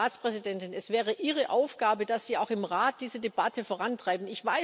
Und, Frau Ratspräsidentin, es wäre Ihre Aufgabe, dass Sie auch im Rat diese Debatte vorantreiben.